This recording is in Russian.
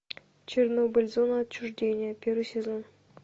чернобыль зона отчуждения первый сезон